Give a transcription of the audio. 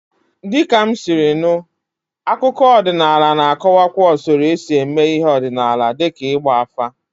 Dịka m siri nụ, akụkọ ọdịnala na-akọwakwa usoro esi eme ihe ọdịnala dịka ịgba afa.